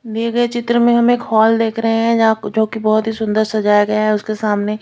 मेरे चित्र में हम एक हॉल देख रहे है जहा जो की बहोत ही सुंदर सजाया गया है उसके सामने--